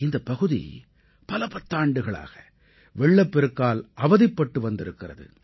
இந்தப் பகுதி பல பத்தாண்டுகளாக வெள்ளப் பெருக்கால் அவதிப்பட்டு வந்திருக்கிறது